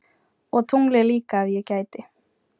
Og tunglið líka ef ég geti.